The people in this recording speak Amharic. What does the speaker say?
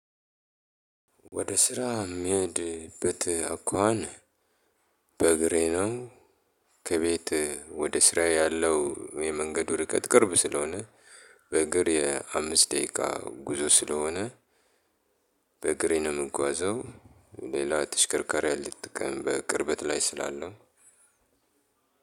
ወደ ስራ የሚሄድበት አኳኋን። በእግሬ ነው። ከቤት ወደ ስራዬ ያለው የመንገድ ርቀት ቅርብ ስለሆነ- በእግር የአምስት ደቂቃ ጉዞ ስለሆነ። በእግሬ ነው የምጓዘው። ሌላ ተሽከርካሪ አልጠቀምም በቅርበት ላይ ስላለው።